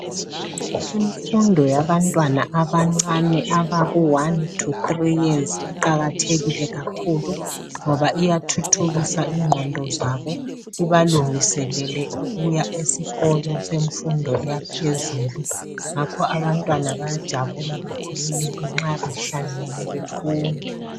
Imfundo yabantwana abancane abaku 1 to 3 years iqakathekile kakhulu ngoba iyathuthukisa ingqondo zabo ibalungiselele ukuya esikolo semfundo yaphezulu ngakho abantwana bayajabula bakhululeke nxa behlangene befunda.